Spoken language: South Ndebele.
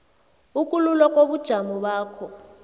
ukululwa kobujamo bakho